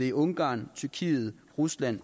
i ungarn tyrkiet rusland